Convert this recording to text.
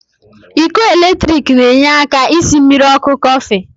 Iko eletrik n'enye aka ji esi mmiri oku Kofi